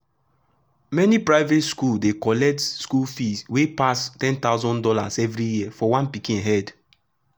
mani private school dey collect school fees wey pass one thousand dollars0 everi year for one pikin head